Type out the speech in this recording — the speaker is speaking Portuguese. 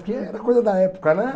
Porque era coisa da época, né?